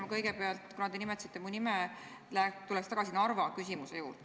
Ma kõigepealt – kuna te nimetasite mu nime – tuleks tagasi Narva küsimuse juurde.